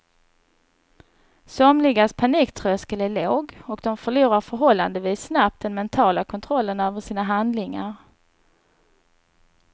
Somligas paniktröskel är låg och de förlorar förhållandevis snabbt den mentala kontrollen över sina handlingar.